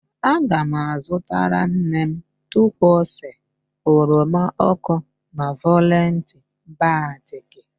Aga m azụtara nne m turquoise, oroma ọkụ na violet batik